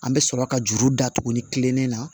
An bɛ sɔrɔ ka juru da tuguni kilennen na